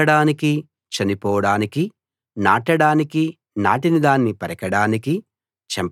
పుట్టడానికీ చనిపోడానికీ నాటడానికీ నాటిన దాన్ని పెరకడానికీ